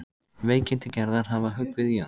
Veikindi Gerðar hafa höggvið í hann.